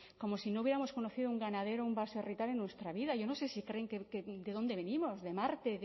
como si no hubiéramos conocido un ganadero o un baserritarra en nuestra vida yo no sé si creen que de dónde venimos de marte